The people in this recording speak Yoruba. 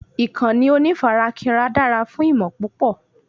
ìkànnì onífarakínra dára fún ìmọ̀ púpọ̀